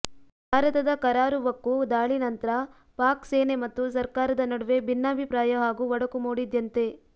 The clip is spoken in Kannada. ಭಾರತದ ಕರಾರುವಕ್ಕು ದಾಳಿ ನಂತ್ರ ಪಾಕ್ ಸೇನೆ ಮತ್ತು ಸರ್ಕಾರದ ನಡುವೆ ಭಿನ್ನಾಭಿಪ್ರಾಯ ಹಾಗೂ ಒಡಕು ಮೂಡಿದ್ಯಂತೆ